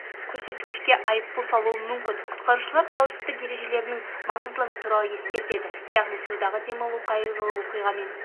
көрсеткішке айыппұл салуы мүмкін құтқарушылар қауіпсіздік ережелерінің маңыздылығы туралы ескертеді яғни судағы демалу қайғылы оқиғамен